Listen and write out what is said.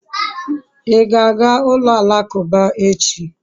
I ga-aga ulo alakuba echi?